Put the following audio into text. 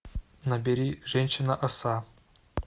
набери женщина оса